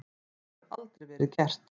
Það hefur aldrei verið gert.